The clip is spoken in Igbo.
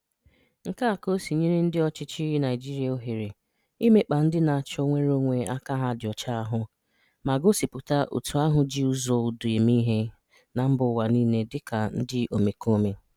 Nke a ka ọ sị nyere ndị ọchịchị Naịjirịa ohere imekpa ndị na-achọ nnwereonwe aka ha dị ọcha ahụ, ma gosipụta òtù ahụ ji ụzọ udo eme ihe na mbaụwa niile dịka ndị omekome.